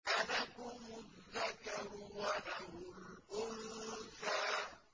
أَلَكُمُ الذَّكَرُ وَلَهُ الْأُنثَىٰ